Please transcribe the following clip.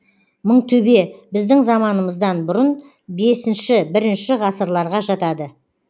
мыңтөбе біздің заманымыздан бұрын бесінші бірінші ғасырларға жатады